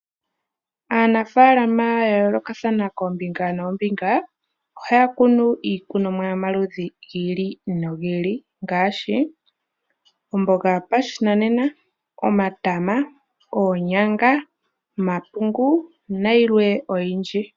Aanafaalama ya yoolokathana koombinga noombinga ohaya kunu iikunomwa yomaludhi gi ili nogi ili. Ngaashi omboga yopashinanena, omatama, oonyanga, omapungu nayilwe oyindji.